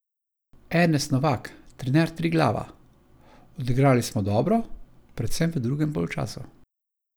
Ernest Novak, trener Triglava: "Odigrali smo dobro, predvsem v drugem polčasu.